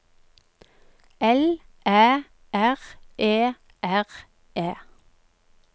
L Æ R E R E